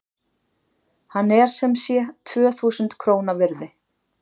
Hann er sem sé tvö þúsund króna virði.